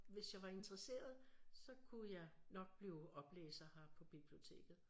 Hvis jeg var interesseret så kunne jeg nok blive oplæser her på biblioteket